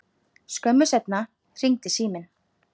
Skömmu seinna hringdi síminn.